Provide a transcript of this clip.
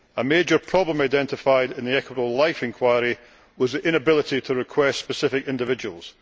A major problem identified in the Equitable Life inquiry was the inability to request specific individuals.